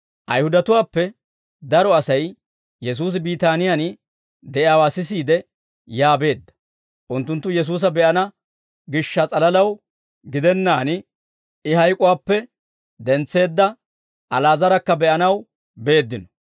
Ayihudatuwaappe daro Asay Yesuusi Biitaaniyaan de'iyaawaa sisiide, yaa beedda; unttunttu Yesuusa be'ana gishsha s'alalaw gidennaan, I hayk'uwaappe dentseedda Ali'aazarakka be'anaw beeddino.